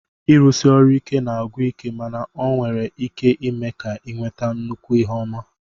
Ịrụsi ọrụ ike na-agwụ ike mana ọ nwere ike ime ka ị nweta nnukwu ihe ọma